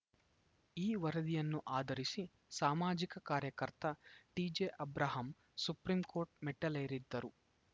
ಈ ವರದಿಯನ್ನು ಆಧರಿಸಿ ಸಾಮಾಜಿಕ ಕಾರ್ಯಕರ್ತ ಟಿಜೆಅಬ್ರಾಹಂ ಸುಪ್ರೀಂಕೋರ್ಟ್‌ ಮೆಟ್ಟಿಲೇರಿದ್ದರು